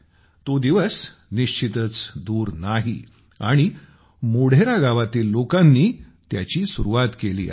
तो दिवस निश्चितच दूर नाही आणि मोढेरा गावातील लोकांनी त्याची सुरुवात केली आहे